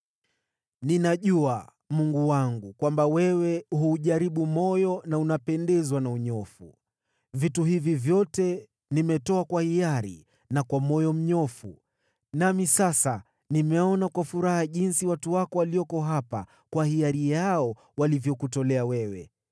Ninajua, Mungu wangu, kwamba wewe huujaribu moyo na unapendezwa na unyofu. Vitu hivi vyote nimetoa kwa hiari na kwa moyo mnyofu. Nami sasa nimeona kwa furaha jinsi watu wako walioko hapa kwa hiari yao walivyokutolea wewe.